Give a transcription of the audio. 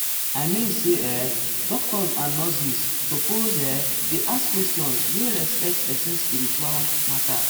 i mean say[um]doctors and nurses suppose[um]dey ask questions wey respect person spiritual matter.